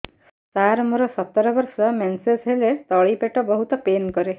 ସାର ମୋର ସତର ବର୍ଷ ମେନ୍ସେସ ହେଲେ ତଳି ପେଟ ବହୁତ ପେନ୍ କରେ